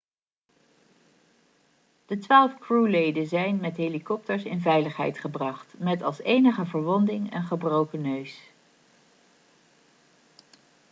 de twaalf crewleden zijn met helikopters in veiligheid gebracht met als enige verwonding een gebroken neus